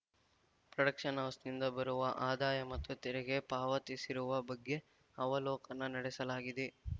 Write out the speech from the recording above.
production ಹೌಸ್‌ನಿಂದ ಬರುವ ಆದಾಯ ಮತ್ತು ತೆರಿಗೆ ಪಾವತಿಸಿರುವ ಬಗ್ಗೆ ಅವಲೋಕನ ನಡೆಸಲಾಗಿದೆ